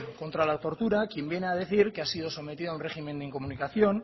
contra la tortura quien viene a decir que ha sido sometido a un régimen de incomunicación